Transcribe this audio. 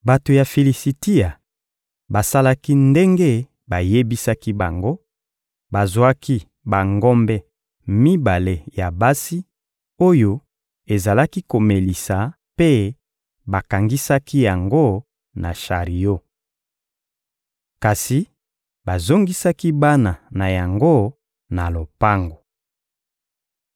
Bato ya Filisitia basalaki ndenge bayebisaki bango: bazwaki bangombe mibale ya basi oyo ezalaki komelisa mpe bakangisaki yango na shario. Kasi bazongisaki bana na yango na lopango.